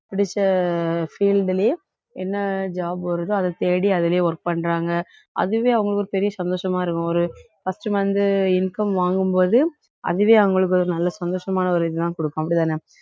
பிடிச்ச field லேயே என்ன job வருதோ அதைத் தேடி அதிலயே work பண்றாங்க அதுவே அவங்களுக்கு ஒரு பெரிய சந்தோஷமா இருக்கும் ஒரு first month income வாங்கும் போது அதுவே அவுங்களுக்கு ஒரு நல்ல சந்தோஷமான ஒரு இதுதான் குடுக்கும் அப்படித்தானே